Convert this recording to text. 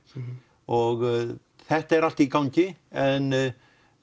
og þetta er allt í gangi en